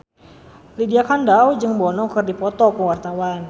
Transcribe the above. Lydia Kandou jeung Bono keur dipoto ku wartawan